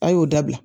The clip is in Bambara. A y'o dabila